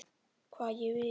Hvað ég vil.